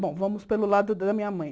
Bom, vamos pelo lado da minha mãe.